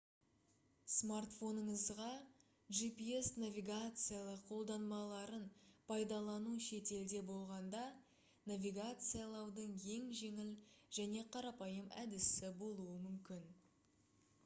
смартфоныңызда gps навигациялық қолданбаларын пайдалану шетелде болғанда навигациялаудың ең жеңіл және қарапайым әдісі болуы мүмкін